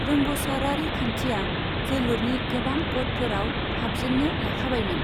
रोंग'सारारि खान्थिया जोलुरनि गोबां क'डफोराव हाबजेन्नो लाखाबायमोन।